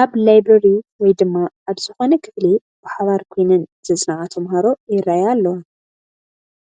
ኣብ ላይብረሪ ወይ ድማ ኣብ ዝኾነ ክፍሊ ብሓባር ኮይነን ዘፅንዓ ተመሃሮ ይርአያ ኣለዋ፡፡